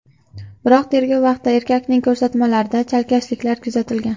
Biroq tergov vaqtida erkakning ko‘rsatmalarida chalkashliklar kuzatilgan.